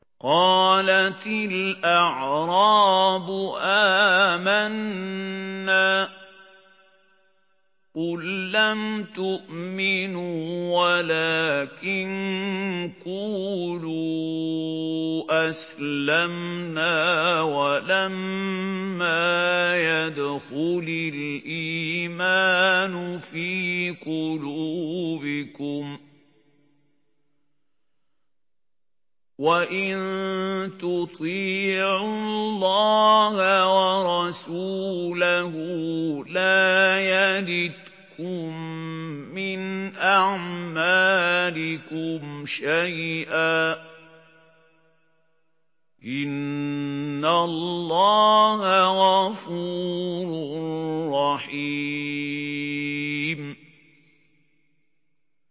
۞ قَالَتِ الْأَعْرَابُ آمَنَّا ۖ قُل لَّمْ تُؤْمِنُوا وَلَٰكِن قُولُوا أَسْلَمْنَا وَلَمَّا يَدْخُلِ الْإِيمَانُ فِي قُلُوبِكُمْ ۖ وَإِن تُطِيعُوا اللَّهَ وَرَسُولَهُ لَا يَلِتْكُم مِّنْ أَعْمَالِكُمْ شَيْئًا ۚ إِنَّ اللَّهَ غَفُورٌ رَّحِيمٌ